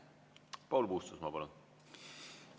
Paul Puustusmaa, palun!